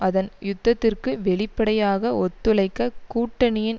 அதன் யுத்தத்திற்கு வெளிப்படையாக ஒத்துழைக்க கூட்டணியின்